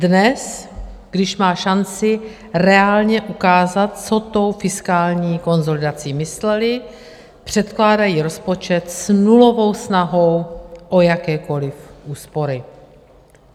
Dnes, když má šanci reálně ukázat, co tou fiskální konsolidací mysleli, předkládají rozpočet s nulovou snahou o jakékoliv úspory.